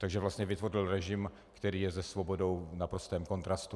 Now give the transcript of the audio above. Takže vlastně vytvořil režim, který je se svobodou v naprostém kontrastu.